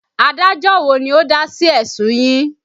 Adájọ́ wo ni ó dá sí ẹ̀sùn yín?